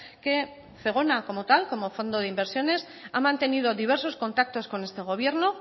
que zegona como tal como fondo de inversiones ha mantenido diversos contactos con este gobierno